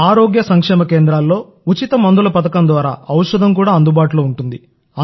ఆరోగ్య సంక్షేమ కేంద్రాల్లో ఉచిత మందుల పథకం ద్వారా ఔషధం కూడా అందుబాటులో ఉంటుంది